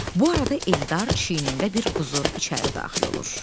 Bu arada Eldar çiynində bir quzu içəri daxil olur.